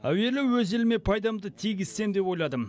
әуелі өз еліме пайдамды тигізсем деп ойладым